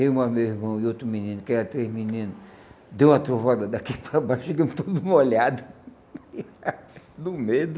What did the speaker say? Eu mais meu irmão e outro menino, que eram três meninos, deu uma trovoada daqui para baixo e chegamos todos molhados, do medo.